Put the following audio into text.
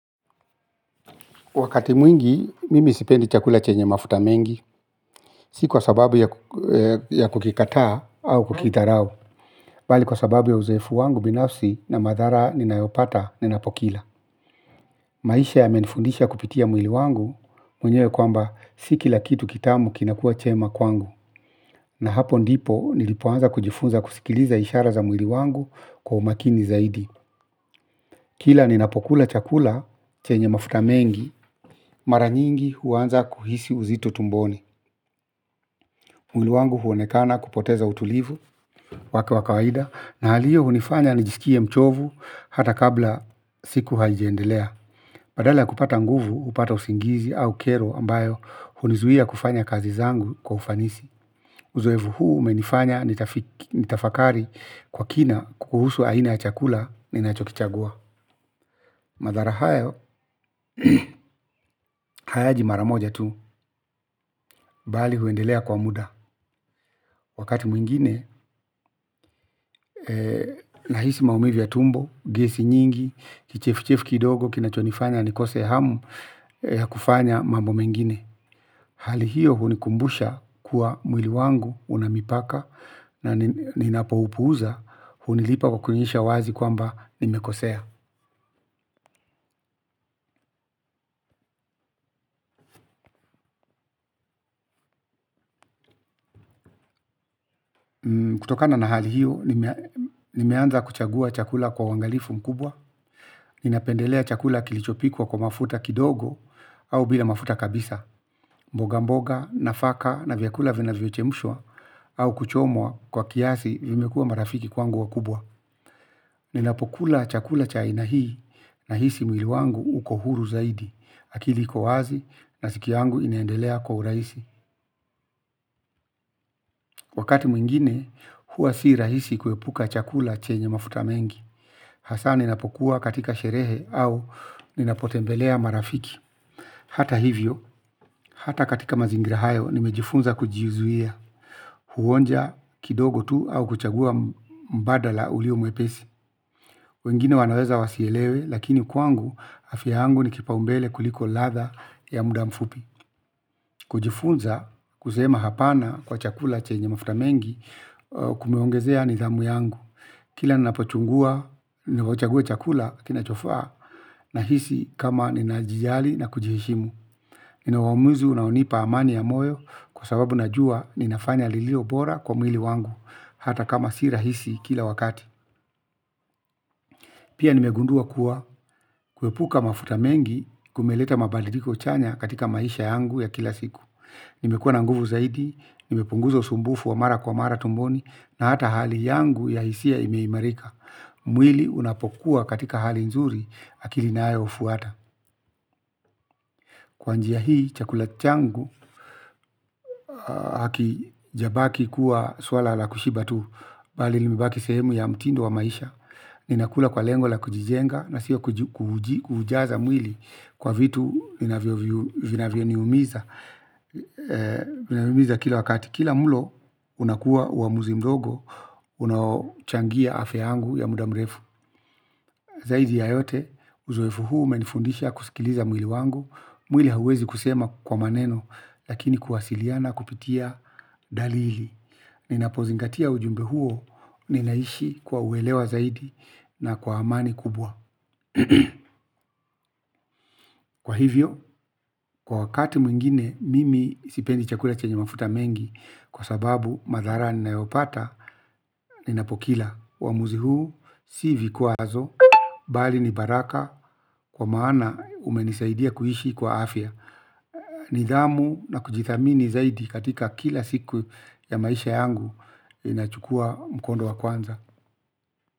Wakati mwingi, mimi sipendi chakula chenye mafuta mengi, si kwa sababu ya kukikataa au kukitharau. Bali kwa sababu ya uzoefu wangu binafsi na madhara ninayopata ninapokila. Maisha yamenifundisha kupitia mwili wangu, mwenyewe kwamba, si kila kitu kitamu kinakua chema kwangu. Na hapo ndipo, nilipoanza kujifunza kusikiliza ishara za mwili wangu kwa umakini zaidi. Kila ninapokula chakula chenye mafuta mengi, mara nyingi huanza kuhisi uzito tumboni. Mwili wangu huonekana kupoteza utulivu, wake wa kawaida, na hali iyo hunifanya nijisikie mchovu hata kabla siku haijiendelea. Badala ya kupata nguvu, hupata usingizi au kero ambayo, hunizuia kufanya kazi zangu kwa ufanisi. Uzoefu huu umenifanya nitafakari kwa kina kuhusu aina ya chakula ninachokichagua. Madhara hayo, hayaji maramoja tu, bali huendelea kwa muda. Wakati mwingine, nahisi maumivu ya tumbo, gesi nyingi, kichefuchefu kidogo, kinachonifanya nikose hamu ya kufanya mambo mengine. Hali hiyo hunikumbusha kuwa mwili wangu unamipaka na ninapo upuuza, hunilipa kukunisha wazi kwamba nimekosea. Kutokana na hali hiyo, nimeanza kuchagua chakula kwa uwangalifu mkubwa, ninapendelea chakula kilichopikwa kwa mafuta kidogo au bila mafuta kabisa. Mboga mboga, nafaka na vyakula vina vyochemushwa au kuchomwa kwa kiasi vimekua marafiki kwangu wakubwa. Ninapokula chakula cha aina hii na hisi mwili wangu uko huru zaidi. Akili kowazi na siki wangu ineendelea kwa uraisi. Wakati mwingine huwa si rahisi kuepuka chakula chenye mafuta mengi. Hasa ninapokuwa katika sherehe au ninapotembelea marafiki. Hata hivyo, hata katika mazingira hayo, nimejifunza kujizuia. Huonja kidogo tu au kuchagua mbadala ulio mwepesi. Wengine wanaweza wasielewe lakini kwangu afiangu ni kipaumbele kuliko latha ya muda mfupi. Kujifunza kusema hapana kwa chakula chenye mafuta mengi kumeongezea nidhamu yangu. Kila nnapochungua ninauchagua chakula kinachofaa na hisi kama ninajijali na kujiheshimu. Nina uamuzu unaonipa amani ya moyo kwa sababu najua ninafanya lililo bora kwa mwili wangu. Hata kama si rahisi kila wakati. Pia nimegundua kuwa kuepuka mafuta mengi kumeleta mabadidiko chanya katika maisha yangu ya kila siku. Nimekuwa na nguvu zaidi. Nimepunguza usumbufu wa mara kwa mara tumboni. Na hata hali yangu ya hisia ime imarika. Mwili unapokuwa katika hali nzuri. Hakili nayo ufuata kwa njia hii chakula changu hakijabaki kuwa swala la kushiba tu. Bali limebaki sehemu ya mtindo wa maisha. Ninakula kwa lengo la kujijenga na siyo kuujaza mwili kwa vitu vinavyo niumiza kila wakati kila mulo unakuwa uamuzi mdogo. Unachangia afya yangu ya muda mrefu. Zaidi ya yote uzwefu huu menifundisha kusikiliza mwili wangu. Mwili hawezi kusema kwa maneno. Lakini kuwasiliana kupitia dalili ninapozingatia ujumbe huo. Ninaishi kwa uelewa zaidi na kwa amani kubwa. Kwa hivyo, kwa wakati mwingine mimi sipendi chakula chenye mafuta mengi. Kwa sababu madharani nayopata, ninapokila uwamuzi huu, si vikwazo, bali ni baraka. Kwa maana umenisaidia kuishi kwa afya. Nidhamu na kujithamini zaidi katika kila siku ya maisha yangu. Inachukua mkondo wa kwanza.